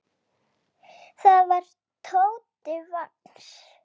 Það var Tóti Vagns.